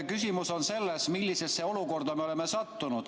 Küsimus on selles, millisesse olukorda me oleme sattunud.